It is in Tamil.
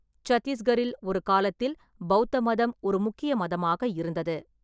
சத்தீஸ்கரில் ஒரு காலத்தில் பெளத்த மதம் ஒரு முக்கிய மதமாக இருந்தது.